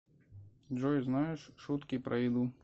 джой знаешь шутки про еду